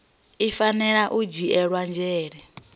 i fanela u dzhiela nzhele